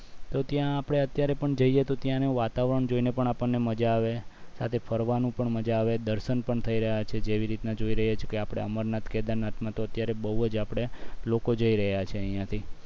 તો ત્યાં અત્યારે પણ આપણે જઈએ તો ત્યાંનું વાતાવરણ જોઈને આપણને મજા આવે સાથે ફરવાનું પણ મજા આવે દર્શન પણ થઈ રહ્યા છે જેવી રીતે જોઈ રહ્યા છે આપણે અમરનાથ કેદારનાથ મા તો અત્યારે બવ જ આપણે લોકો જઈ રહ્યા છે અહીંયા થી